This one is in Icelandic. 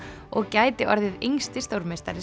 og gæti orðið yngsti stórmeistari